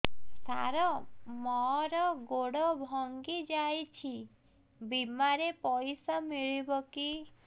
ସାର ମର ଗୋଡ ଭଙ୍ଗି ଯାଇ ଛି ବିମାରେ ପଇସା ମିଳିବ କି